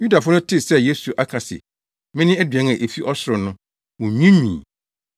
Yudafo no tee sɛ Yesu aka se, “Mene aduan a efi ɔsoro” no, wonwiinwii.